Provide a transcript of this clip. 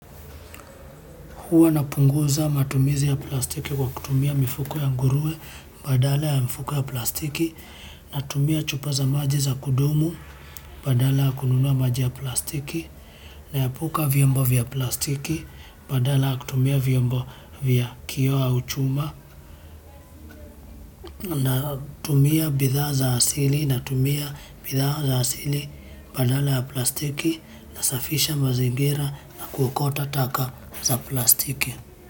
Huwa napunguza matumizi ya plastiki kwa kutumia mifuko ya nguruwe badala ya mifuko ya plastiki natumia chupa za maji za kudumu badala ya kununua maji ya plastiki naepuka vyombo vya plastiki badala ya kutumia vyombo vya kioo au chuma natumia bidhaa za asili natumia bidhaa za asili badala ya plastiki nasafisha mazingira na kuokota taka za plastiki.